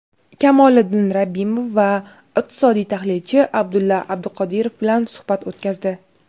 Kamoliddin Rabbimov va iqtisodiy tahlilchi Abdulla Abduqodirov bilan suhbat o‘tkazdi.